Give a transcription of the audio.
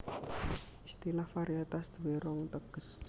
Istilah varietas duwé rong teges